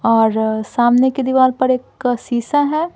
और सामने की दीवार पर एक शीशा है।